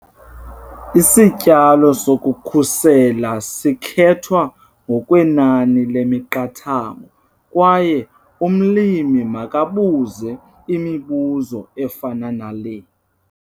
Isityalo sokukhusela sikhethwa ngokwenani lemiqathango kwaye umlimi makabuze imibuzo efana nale.